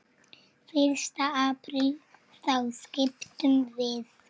Fyrsta apríl þá skiptum við.